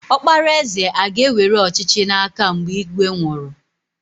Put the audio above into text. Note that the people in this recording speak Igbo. Ọkpara eze aga ewere ọchịchị n'aka mgbe ígwè nwụrụ?